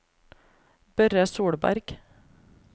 Børre Solberg